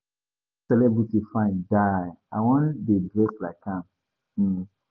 Dat celebrity fine die, I wan dey dress like am um